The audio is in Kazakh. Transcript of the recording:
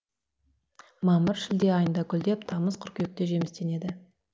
мамыр шілде айында гүлдеп тамыз қыркүйекте жемістенеді